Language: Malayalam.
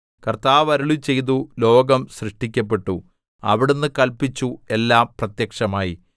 കർത്താവ് അരുളിച്ചെയ്തു ലോകം സൃഷ്ടിക്കപ്പെട്ടു അവിടുന്ന് കല്പിച്ചു എല്ലാം പ്രത്യക്ഷമായി